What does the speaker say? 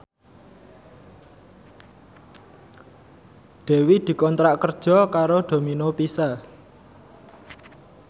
Dewi dikontrak kerja karo Domino Pizza